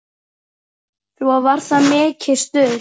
Svo það var mikið stuð.